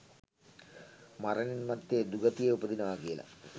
මරණින් මත්තේ දුගතියේ උපදිනවා කියලා.